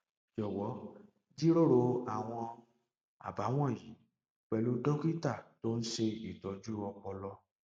jọwọ jíròrò àwọn àbá wọnyí pẹlú dókítà tó ń ṣe ìtọjú ọpọlọ